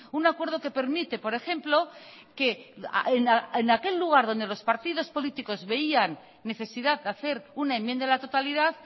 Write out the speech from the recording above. un acuerdo que permite por ejemplo que en aquel lugar donde los partidos políticos veían necesidad de hacer una enmienda a la totalidad